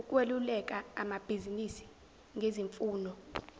ukweluleka amabizinisi ngezimfuno